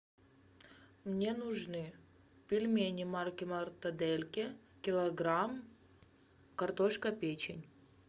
мне нужны пельмени марки мортадельки килограмм картошка печень